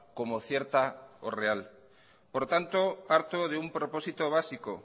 como cierta o real por tanto parto de un propósito básico